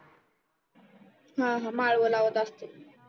हम्म हम्म माळव लावत असते